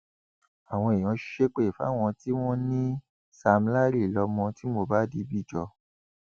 àwọn èèyàn ṣépè fáwọn tí wọn ní sam larry lọmọ tí mohbad bí jọ